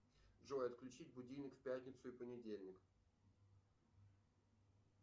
джой отключить будильник в пятницу и понедельник